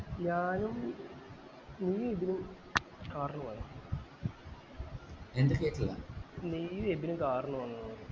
ഞാനും നീ എബിന് car ല് പോയ നീയു എബിനും car ല് വന്നു